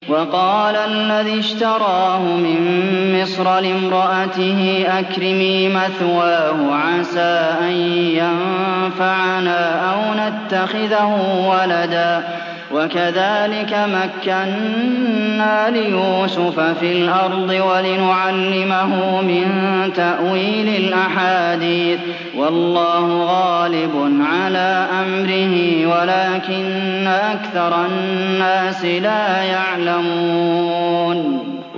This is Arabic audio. وَقَالَ الَّذِي اشْتَرَاهُ مِن مِّصْرَ لِامْرَأَتِهِ أَكْرِمِي مَثْوَاهُ عَسَىٰ أَن يَنفَعَنَا أَوْ نَتَّخِذَهُ وَلَدًا ۚ وَكَذَٰلِكَ مَكَّنَّا لِيُوسُفَ فِي الْأَرْضِ وَلِنُعَلِّمَهُ مِن تَأْوِيلِ الْأَحَادِيثِ ۚ وَاللَّهُ غَالِبٌ عَلَىٰ أَمْرِهِ وَلَٰكِنَّ أَكْثَرَ النَّاسِ لَا يَعْلَمُونَ